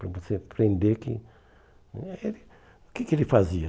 Para você aprender que... eh O que que ele fazia?